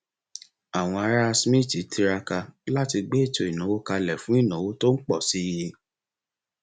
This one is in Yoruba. àwọn ará smith tiraka láti gbé ètò ìnáwó kalẹ fún ìnáwó tó ń pọ sí i